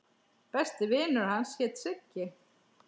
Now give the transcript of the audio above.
Besti vinur hans hét Siggi.